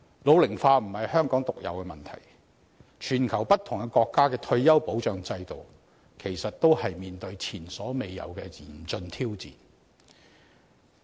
老齡化並非香港獨有的問題，全球不同國家的退休保障制度，其實也正面對前所未有的嚴峻挑戰。